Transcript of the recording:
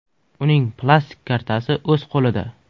Uning plastik kartasi o‘z qo‘lida.